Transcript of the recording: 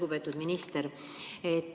Lugupeetud minister!